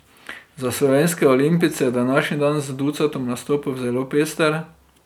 Za slovenske olimpijce je današnji dan z ducatom nastopov zelo pester.